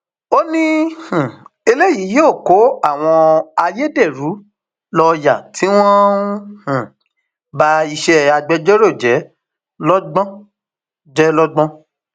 ó ní um eléyìí yóò kó àwọn ayédèrú lọọyà tí wọn ń um ba iṣẹ agbẹjọrò jẹ lọgbọn jẹ lọgbọn